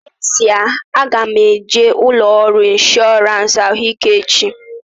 N'ezie, aga m eje ụlọ ọrụ ịnshọransị ahụike echi